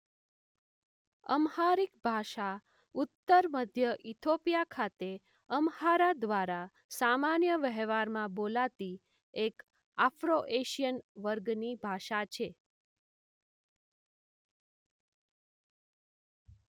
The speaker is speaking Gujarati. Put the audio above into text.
અમ્હારિક ભાષા ઉત્તર મધ્ય ઇથોપિયા ખાતે અમ્હારા દ્વારા સામાન્ય વહેવારમાં બોલાતી એક આફ્રોએશીયન વર્ગની ભાષા છે.